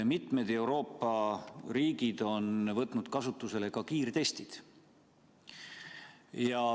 Mitmed Euroopa riigid on võtnud kasutusele ka kiirtestid.